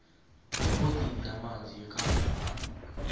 ebhodini yezamanzi yekangala